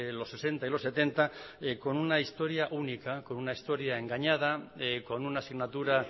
los sesenta y los setenta con una historia única con una historia engañada con una asignatura